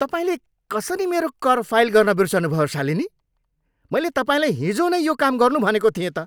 तपाईँले कसरी मेरो कर फाइल गर्न बिर्सनुभयो, शालिनी? मैले तपाईँलाई हिजो नै यो काम गर्नु भनेको थिएँ त।